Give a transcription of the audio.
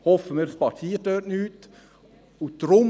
Hoffen wir, dass dort nichts passiert.